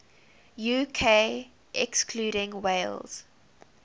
uk excluding wales